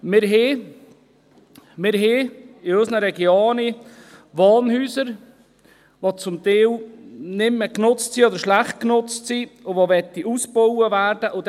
– Wir haben in unseren Regionen Wohnhäuser, die zum Teil nicht mehr genutzt oder schlecht genutzt sind und ausgebaut werden wollen.